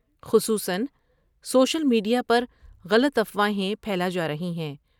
خصوصا social media پر غلط افواہیں پھیلا جارہی ہیں ۔